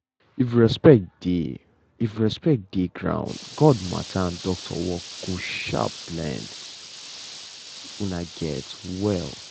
if respect dey if respect dey ground god matter and doctor work go um blend um well.